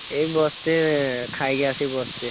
ଏଇ ବସିଛି ଖାଇକି ଆସି ବସିଛି।